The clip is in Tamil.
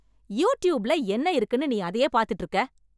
யூடியூப்ல என்ன இருக்குன்னு நீ அதையே பாத்துட்டு இருக்க?